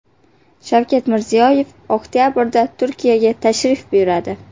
Shavkat Mirziyoyev oktabrda Turkiyaga tashrif buyuradi.